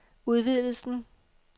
udvidelsen